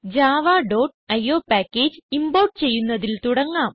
javaഇയോ package import ചെയ്യുന്നതിൽ തുടങ്ങാം